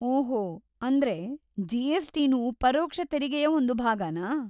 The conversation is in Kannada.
ಓಹೋ, ಅಂದ್ರೆ ಜಿ.ಎಸ್.ಟಿ.ನೂ ಪರೋಕ್ಷ ತೆರಿಗೆಯ ಒಂದು ಭಾಗನಾ?